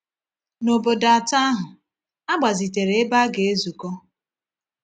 N’obodo atọ ahụ, a gbazitere ebe a ga-ezukọ.